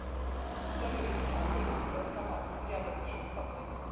салют где находится банкомат рядом есть со мной